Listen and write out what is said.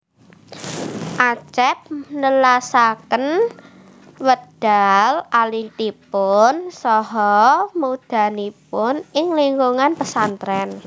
Acep nelasaken wekdal alitipun saha mudhanipun ing lingkungan pesantren